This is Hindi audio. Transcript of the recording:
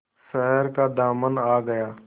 शहर का दामन आ गया